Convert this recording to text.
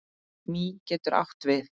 Mý getur átt við